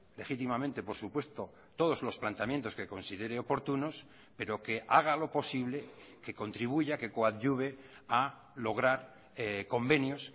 legítimamente por supuesto todos los planteamientos que considere oportunos pero que haga lo posible que contribuya que coadyuve a lograr convenios